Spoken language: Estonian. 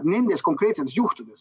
Need konkreetsed juhud.